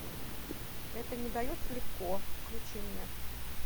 это не дается легко включи мне